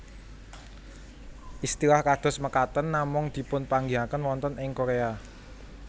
Istilah kados mekaten namung dipunpanggihaken wonten ing Korea